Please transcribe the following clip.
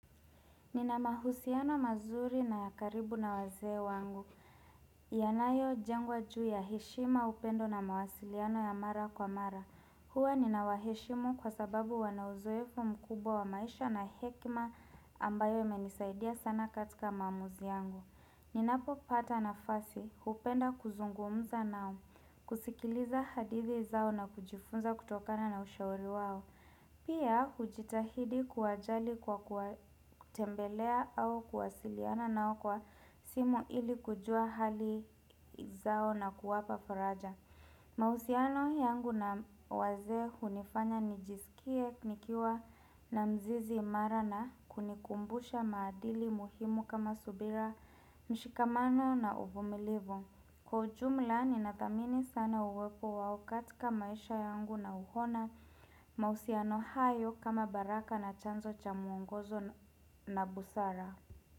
Nina mahusiano mazuri na ya karibu na wazee wangu. Yanayo jengwa juu ya heshima upendo na mawasiliano ya mara kwa mara. Hua ninawaheshimu kwa sababu wanauzoefu mkubwa wa maisha na hekima ambayo imenisaidia sana katika maamuzi yangu. Ninapopata nafasi, hupenda kuzungumza nao, kusikiliza hadithi zao na kujifunza kutokana na ushauri wao. Pia hujitahidi kuwajali kwa kutembelea au kuwasiliana nao kwa simu ili kujua hali zao nakuwapa faraja. Mahusiano yangu na wazee hunifanya nijisikie nikiwa na mzizi imarana kunikumbusha maadili muhimu kama subira mshikamano na uvumilivu. Kwa ujumla ni nadhamini sana uwepo wao katika maisha yangu na huona mahusiano hayo kama baraka na chanzo cha mwongozo na busara.